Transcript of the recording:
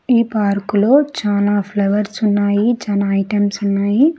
ఈ పార్కులో చానా ఫ్లవర్స్ ఉన్నాయి చానా ఐటమ్స్ ఉన్నాయి.